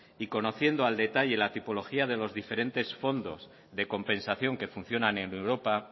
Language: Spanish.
y conociendo al detalle la tipología de los diferentes fondos de compensación que funcionan en europa